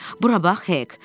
Bura bax, Hek!